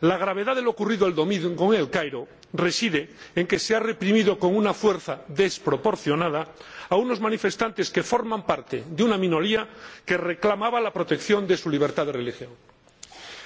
La gravedad de lo ocurrido el domingo en El Cairo reside en que se ha reprimido con una fuerza desproporcionada a unos manifestantes que forman parte de una minoría que reclamaba la protección de su libertad de religión.